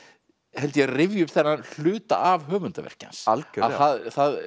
held ég rifja upp þennan hluta af höfundarverki hans algjörlega